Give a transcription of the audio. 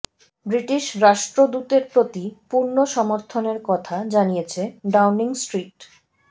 British রাষ্ট্রদূতের প্রতি পূর্ণ সমর্থনের কথা জানিয়েছে ডাউনিং স্ট্রিট